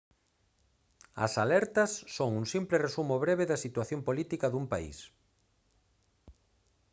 as alertas son un simple resumo breve da situación política dun país